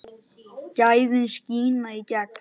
Gæðin skína í gegn.